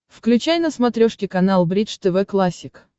включай на смотрешке канал бридж тв классик